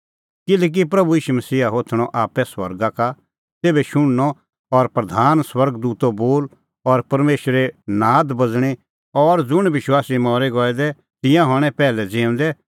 किल्हैकि प्रभू ईशू मसीहा होथणअ आप्पै स्वर्गा का तेभै शुणनअ और प्रधान स्वर्ग दूतो बोल और परमेशरे नाद बाज़णीं और ज़ुंण विश्वासी मरी आसा गऐ दै तिंयां हणैं पैहलै ज़िऊंदै